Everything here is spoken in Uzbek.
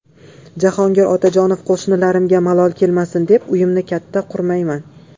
Jahongir Otajonov: Qo‘shnilarimga malol kelmasin deb, uyimni katta qurmayman .